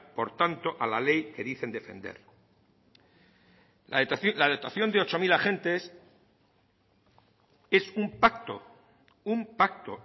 por tanto a la ley que dicen defender la dotación de ocho mil agentes es un pacto es un pacto